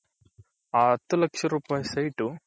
ಹ ಹತ್ತು ಲಕ್ಷ ರೂಪಾಯಿ site ಉ